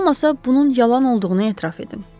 Heç olmasa bunun yalan olduğunu etiraf edin.